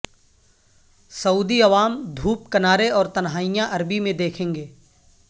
سعودی عوام دھوپ کنارے اور تنہائیاں عربی میں دیکھیں گے